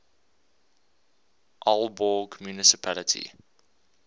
aalborg municipality